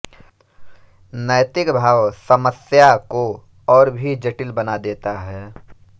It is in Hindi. नैतिक भाव समस्या को और भी जटिल बना देता है